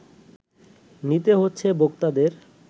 নিতে হচ্ছে ভোক্তাদের